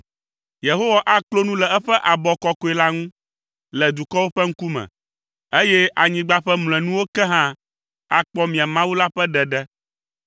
Yehowa aklo nu le eƒe abɔ kɔkɔe la ŋu le dukɔwo ƒe ŋkume, eye anyigba ƒe mlɔenuwo ke hã akpɔ mia Mawu la ƒe ɖeɖe.